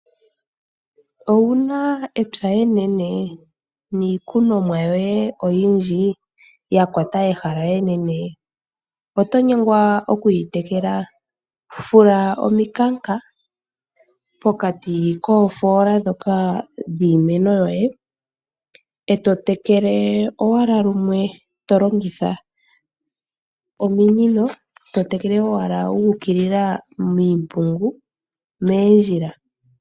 Ouna epya enene niikunomwa yoye oyimdji yakwata ehala enene, na oto nyengwa okuyi tekela? Fula ominkanka pokati koofoola dhiimeno yoye etotekele lumwe ashike tolongitha ominino omeya guukilila miipungu ano moondjila.